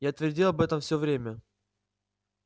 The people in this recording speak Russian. я твердил об этом всё время